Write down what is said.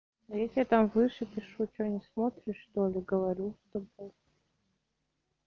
если там выше пишу что не смотришь что ли говорю с тобой